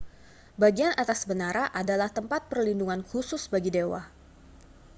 bagian atas menara adalah tempat perlindungan khusus bagi dewa